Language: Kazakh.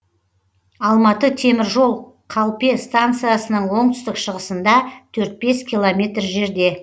алматы темір жол қалпе стациясының оңтүстік шығысында төрт бес километр жерде